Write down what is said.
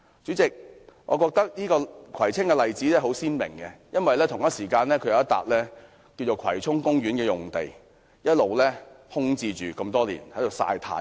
主席，我覺得葵青的例子相當鮮明，因為有一幅葵涌公園用地一直空置，只是在"曬太陽"。